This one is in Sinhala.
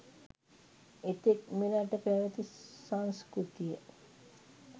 එතෙක් මෙරට පැවැති සංස්කෘතිය